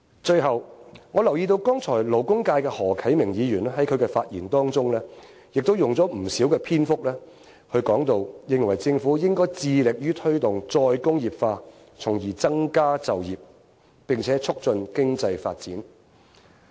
最後，我留意到剛才勞工界的何啟明議員在他的發言當中，亦都用了不少篇幅，認為政府應該致力於推動再工業化，從而增長加就業，並且促進經濟發展。